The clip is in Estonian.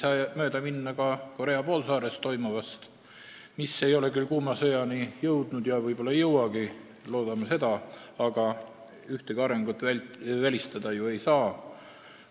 Aga mööda ei saa minna ka Korea poolsaarel toimuvast, mis ei ole küll kuuma sõjani jõudnud ja loodame, et ei jõuagi, aga ühtegi arengut ju välistada ei saa.